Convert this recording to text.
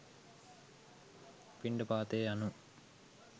පිණ්ඩපාතය යනු